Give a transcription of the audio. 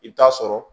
I bɛ taa sɔrɔ